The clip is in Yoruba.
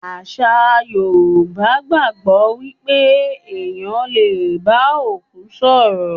Àṣà Yorùbá gbàgbó wípé ẹ̀yàn le bá òkú sọ̀rọ̀.